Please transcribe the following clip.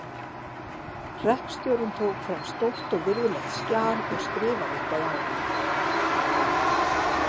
Hreppstjórinn tók fram stórt og virðulegt skjal og skrifaði eitthvað á það.